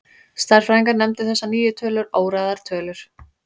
Stærðfræðingar nefndu þessar nýju tölur óræðar tölur.